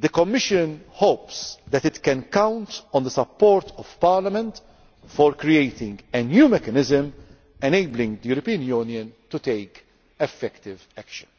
The Commission hopes it can count on the support of Parliament for creating a new mechanism enabling the European Union to take effective action.